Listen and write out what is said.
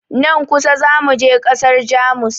Nan kusa za mu je ƙasar Jamus.